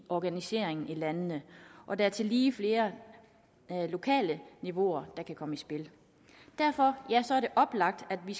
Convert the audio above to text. organiseringen i landene og det er tillige flere lokale niveauer der kan komme i spil derfor er det oplagt at det